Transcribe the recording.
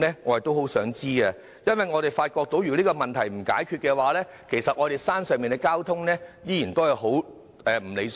我很想知道，因為我們發覺如果不解決這個問題，九龍東山上的交通仍然很不理想。